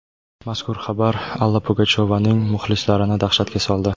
Mazkur xabar Alla Pugachyovaning muxlislarini dahshatga soldi.